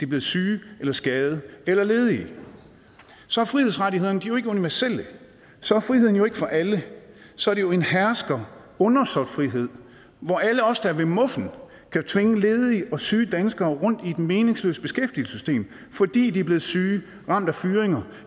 blevet syge eller skadede eller ledige så er frihedsrettighederne jo ikke universelle så er friheden jo ikke for alle så er det jo en hersker undersåt frihed hvor alle os der er ved muffen kan tvinge ledige og syge danskere rundt i et meningsløst beskæftigelsessystem fordi de er blevet syge ramt af fyringer